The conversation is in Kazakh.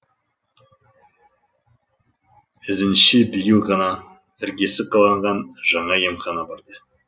ізінше биыл ғана іргесі қаланған жаңа емханаға барды